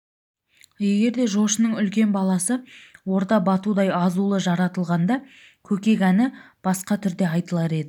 егерде жошының үлкен баласы орда батудай азулы жаратылғанда көкек әні басқа түрде айтылар еді